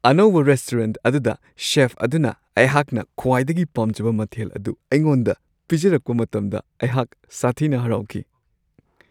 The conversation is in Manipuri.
ꯑꯅꯧꯕ ꯔꯦꯁꯇꯨꯔꯦꯟꯠ ꯑꯗꯨꯗ ꯆꯦꯐ ꯑꯗꯨꯅ ꯑꯩꯍꯥꯛꯅ ꯈ꯭ꯋꯥꯏꯗꯒꯤ ꯄꯥꯝꯖꯕ ꯃꯊꯦꯜ ꯑꯗꯨ ꯑꯩꯉꯣꯟꯗ ꯄꯤꯖꯔꯛꯄ ꯃꯇꯝꯗ ꯑꯩꯍꯥꯛ ꯁꯥꯊꯤꯅ ꯍꯔꯥꯎꯈꯤ ꯫